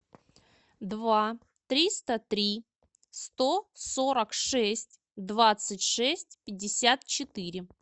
два триста три сто сорок шесть двадцать шесть пятьдесят четыре